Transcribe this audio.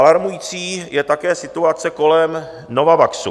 Alarmující je také situace kolem Novavaxu.